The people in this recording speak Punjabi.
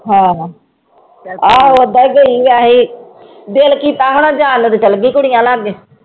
ਹੋਰ, ਆਹੋ ਓਦਾਂ ਹੀ ਗਈ ਵੈਸੇ ਦਿਲ ਕੀਤਾ ਹੋਣਾ ਚਲੇ ਗਈ ਕੁੜੀਆਂ ਲਾਗੇ।